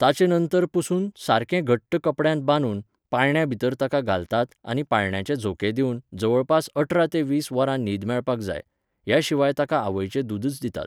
ताचे नंतर पुसून, सारकें घट्ट कपड्यांत बांदून, पाळण्यांभितर ताका घालतात आनी पाळण्याचे झोके दिवन, जवळपास अठरा ते वीस वरां न्हीद मेळपाक जाय. ह्या शिवाय ताका आवयचे दूदच दितात.